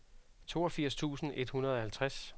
toogfirs tusind et hundrede og halvtreds